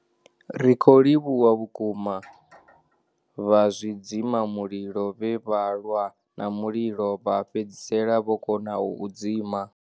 Ri khou livhuwa vhukuma vha zwidzimamulilo vhe vha lwa na mulilo vha fhedzisela vho kona u u dzima.